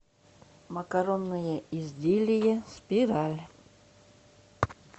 макаронные изделия спираль